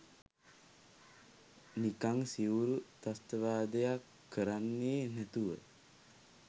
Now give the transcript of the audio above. නිකං සිවුරු ත්‍රස්තවාදයක් කරන්නේ නැතුව.